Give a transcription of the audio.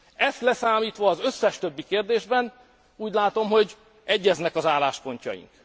Ezt leszámítva az összes többi kérdésben úgy látom, hogy egyeznek az álláspontjaink.